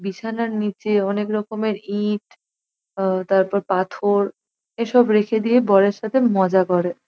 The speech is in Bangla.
বিছানার নীচে অনেক রকমের ইট অ তারপর পাথর এসব রেখে দিয়ে বরের সাথে মজা করে।